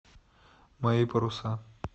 мои паруса